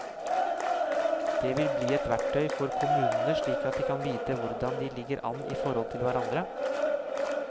Det vil bli et verktøy for kommunene slik at de kan vite hvordan de ligger an i forhold til hverandre.